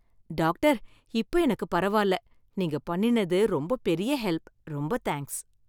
Doctor, இப்ப எனக்கு பரவாயில்ல. நீங்க பண்ணினது ரொம்ப பெரிய ஹெல்ப். ரொம்ப தேங்க்ஸ்.